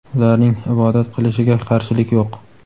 ularning ibodat qilishiga qarshilik yo‘q.